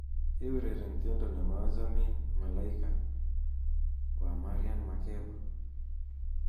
keureren tiendo nebo achomin malaika wa mariam makeba